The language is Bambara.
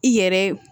I yɛrɛ